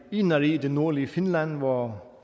inari i det nordlige finland hvor